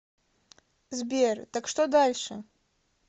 сбер так что дальше